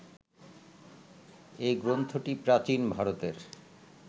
এই গ্রন্থটি প্রাচীন ভারতের